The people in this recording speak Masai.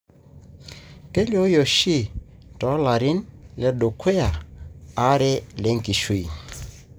kelioyu oshi tolarin ledukya are lenkishui.